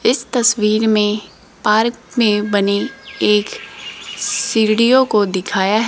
इस तस्वीर में पार्क में बनी एक सीढ़ियों को दिखाया है।